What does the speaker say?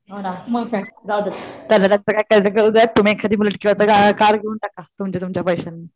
हो ना मग काय जाऊदे तुम्ही एखादी बुलेट किंवा कार घेऊन टाका तुमच्या तुमच्या पैशानी